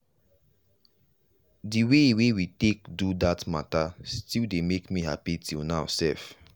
the way we take do that matta still dey make happy till now sef.